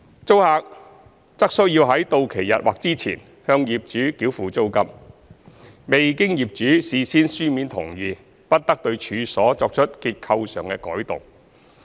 租客則須在到期日或之前向業主繳付租金；未經業主事先書面同意，不得對處所作出結構上的改動。